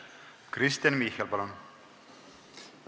Kristen Michal, palun!